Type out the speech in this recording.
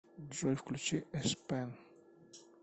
джой включи эспен